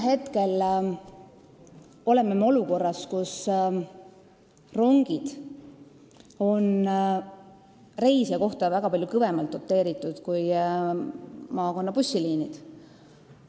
Hetkel oleme me olukorras, kus rongid on reisija kohta arvestades palju kõvemalt doteeritud kui maakonnabussiliinid.